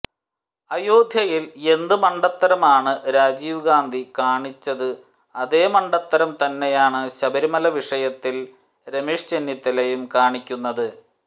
അയോധ്യയിൽ എന്ത് മണ്ടത്തരമാണ് രാജീവ് ഗാന്ധി കാണിച്ചത് അതേ മണ്ടത്തരം തന്നെയാണ് ശബരിമല വിഷയത്തിൽ രമേശ് ചെന്നിത്തലയും കാണിക്കുന്നത്